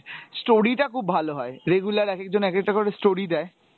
story টা খুব ভালো হয়, regular এক একজন এক একটা করে story দেয়।